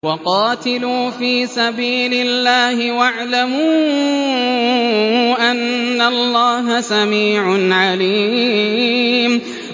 وَقَاتِلُوا فِي سَبِيلِ اللَّهِ وَاعْلَمُوا أَنَّ اللَّهَ سَمِيعٌ عَلِيمٌ